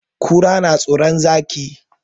Kura na tsoron Zaki.